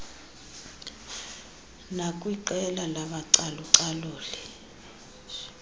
nakwiqela labacalu caluli